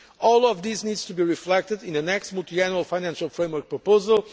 All of this needs to be reflected in the next multiannual financial framework proposal.